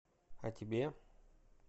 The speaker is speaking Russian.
а тебе